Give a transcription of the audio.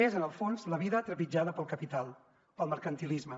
és en el fons la vida trepitjada pel capital pel mercantilisme